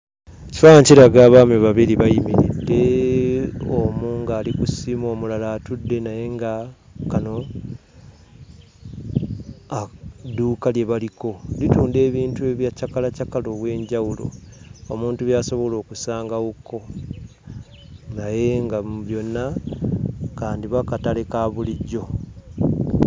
Ekifaananyi kiraga abaami babiri bayimiridde, omu ng'ali ku ssimu, omulala atudde naye nga kano dduuka lye baliko. Litunda ebintu bya cakalacakala ow'enjawulo omuntu by'asobola okusangawokko. Naye nga mu byonna, kandiba katale ka bulijjo.